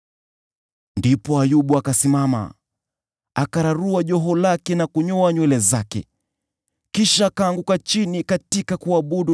Ndipo Ayubu akasimama, akararua joho lake na kunyoa nywele zake. Kisha akaanguka chini katika kuabudu